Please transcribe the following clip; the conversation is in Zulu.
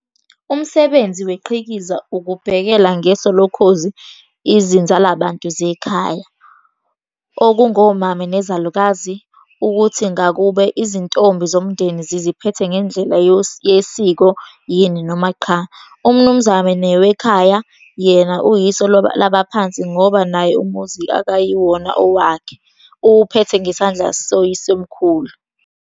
Umsebenzi weqhikiza ukubhekela ngeso lokhozi izinzalabantu zekhaya, okungomame nezalukazi, ukuthi ngakube izintombi zomndeni ziziphethe ngendlela yesiko yini noma qha. Umnumzane wekhaya yena uyiso labaphansi ngoba naye umuzi akuyiwona owakhe, uwuphethe ngesandla sawoyisemkhulu.